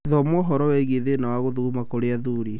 Thoma ũhoro wĩgiĩ thĩna wa gũthuguma kĩrũ athuri